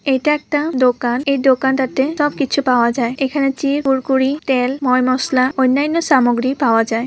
এটা একটা দোকান | এই দোকানটাতে সব কিছু পাওয়া যায় |এখানে চিপ কুড়কুড়ি তেল ময় মসলা অন্যান্য সামগ্রী পাওয়া যায় ।